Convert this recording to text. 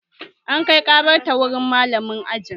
An kai ƙarar ta wurin malamin aji